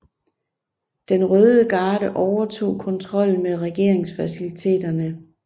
Den Røde Garde overtog kontrollen med regeringsfaciliteterne